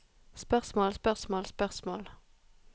spørsmål spørsmål spørsmål